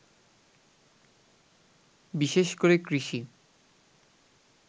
বিশেষ করে কৃষি